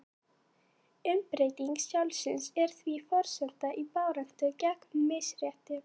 umbreyting sjálfsins er því forsenda í baráttu gegn misrétti